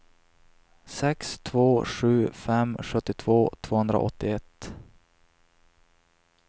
sex två sju fem sjuttiotvå tvåhundraåttioett